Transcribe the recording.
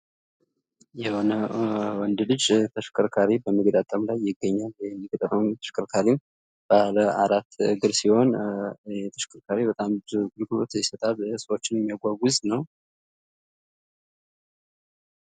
የሆነ ወንድ ልጅ ተሽከርካሪ በመገጣጠም ላይ ይገኛል የሚገጥመው ተሽከርካሪም ባለ አራት እግር ሲሆን ይሄ ተሽከርካሪም ብዙ አገልግሎቶችን ይሰጣል ሰወችንም የሚያጏጉዞ ነው።